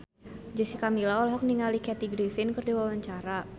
Jessica Milla olohok ningali Kathy Griffin keur diwawancara